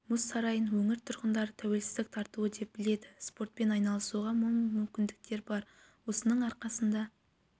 мұз сарайын өңір тұрғындары тәуелсіздік тартуы деп біледі спортпен айналысуға мол мүмкіндіктер бар осының арқасында